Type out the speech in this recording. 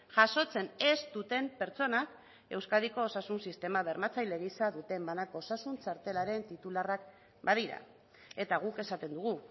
jasotzen ez duten pertsonak euskadiko osasun sistema bermatzaile gisa duten banako osasun txartelaren titularrak badira eta guk esaten dugu